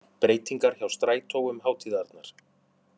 Breytingar hjá strætó um hátíðarnar